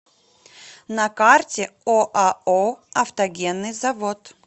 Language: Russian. на карте оао автогенный завод